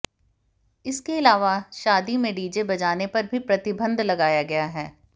इसके अलावा शादी में डीजे बजाने पर भी प्रतिबंध लगाया गया है